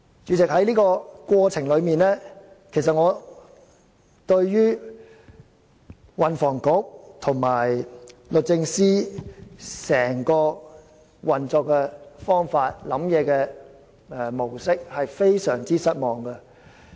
主席，在這個過程中，我對運輸及房屋局和律政司的整個運作方法及思想模式非常失望。